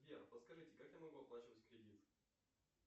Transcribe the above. сбер подскажите как я могу оплачивать кредит